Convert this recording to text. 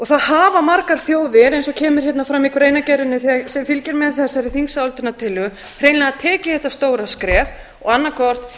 það hafa margar þjóðir eins og kemur fram í greinargerðinni sem fylgir með þessari þingsályktunartillögu hreinlega tekið þetta stóra skref og annað hvort